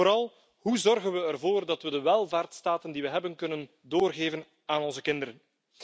en vooral Hoe zorgen we ervoor dat we de welvaartsstaten die we hebben, kunnen doorgeven aan onze kinderen?.